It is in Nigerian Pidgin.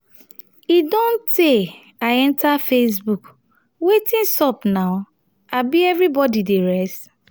e don tey i enter facebook wetin sup now abi everybody dey rest?